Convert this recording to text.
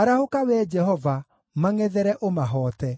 Arahũka, Wee Jehova, mangʼethere, ũmahoote;